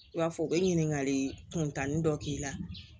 I b'a fɔ u bɛ ɲininkali kuntanin dɔ k'i la